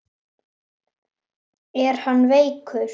Er hann veikur?